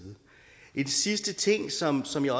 en sidste ting som som jeg